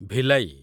Bhilai